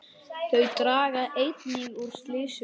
Þau draga einnig úr slysum.